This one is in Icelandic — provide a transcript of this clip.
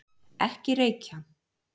Ekki reykja!